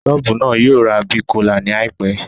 Ṣọ́ọ̀bù náà yóò ra Big Cola ní àìpẹ́